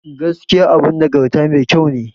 Gaskiya abun nagarta mai ƙyau ne.